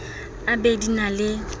e be di na le